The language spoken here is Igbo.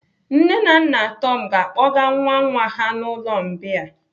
Nne na nna Tom ga-akpọga nwa nwa ha n'ụlọ mbìa.